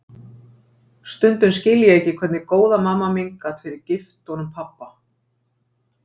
Stundum skil ég ekki hvernig góða mamma mín gat verið gift honum pabba.